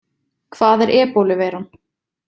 Hvað er ebóluveiran?